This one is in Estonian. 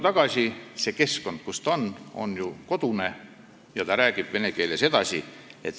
Aga ta tuleb koju tagasi ja räägib vene keeles edasi.